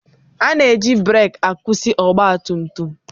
Ana-eji breekị akwụsị ọgbatumtum.